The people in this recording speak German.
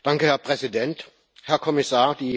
Herr Präsident, Herr Kommissar!